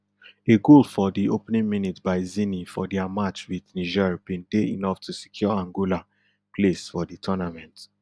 a goal for di opening minute by zini for dia match with niger bin dey enough to secure angola place for di tournament